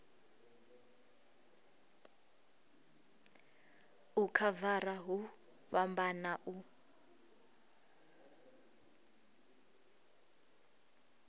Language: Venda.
u khavara hu fhambana u